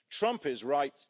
Trump is right.